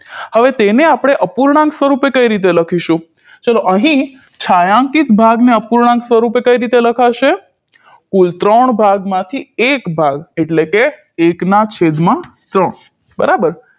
હવે તેને આપણે અપૂર્ણાંક સ્વરુપે કઈ રીતે લખીશું ચલો અહી છાંયાંકીત ભાગને અપૂર્ણાંક સ્વરુપે કઈ રીતે લખાશે કુલ ત્રણ ભાગમાંથી એક ભાગ એટલે કે એકના છેદમાં ત્રણ બરાબર